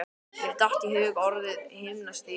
Mér datt í hug orðið himnastigi.